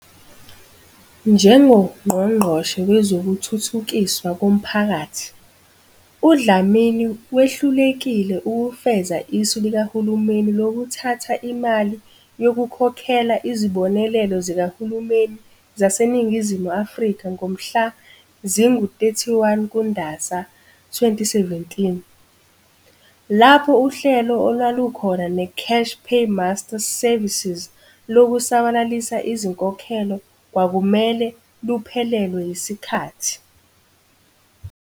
NjengoNgqongqoshe Wezokuthuthukiswa Komphakathi, uDlamini wehlulekile ukufeza isu likahulumeni lokuthatha imali yokukhokhela izibonelelo zikahulumeni zaseNingizimu Afrika ngomhla zingama-31 kuNdasa 2017, lapho uhlelo olwalukhona neCash Paymaster Services lokusabalalisa izinkokhelo kwakumele luphelelwe yisikhathi.